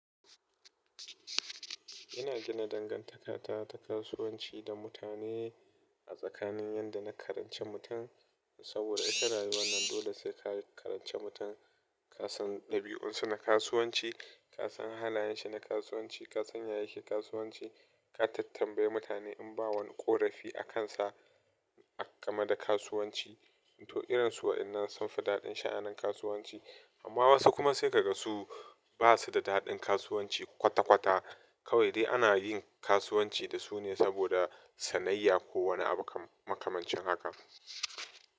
Ina gina dangantaka ta kasuwanci da mutane a tsakanin yadda na karanci mutum, saboda ita rayuwa nan dole sai ka karanci mutum, ka san dabi'unsa na kasuwanci, ka san halayen shi na kasuwanci, ka san ya yake kasuwanci, ka tattambayi mutane in ba wani ƙorafi a kansa a game da kasuwanci. To irin su wayannan sun fi daɗin sha'anin kasuwanci, amma wasu kuma sai ka ga su basu da daɗin kasuwanci kwata-kwata, kawai dai ana yin kasuwanci da su ne saboda sanayya ko wani makamancin haka.